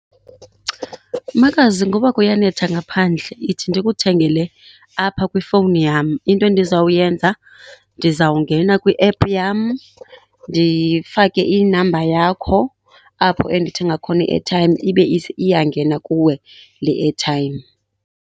Makazi, ngoba kuyanetha ngaphandle yithi ndikuthengele apha kwifowuni yam. Into endizawuyenza, ndizawungena kwiephu yam ndifake inamba yakho apho endithenga khona iethayimu ibe iyangena kuwe le ethayimu.